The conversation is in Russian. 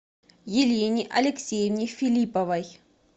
елене алексеевне филипповой